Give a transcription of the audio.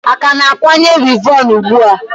A ka na-akwanye wivon ugbua?